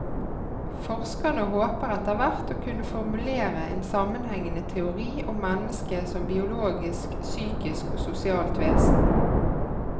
Forskerne håper etterhvert å kunne formulere en sammenhengende teori om mennesket som biologisk, psykisk og sosialt vesen.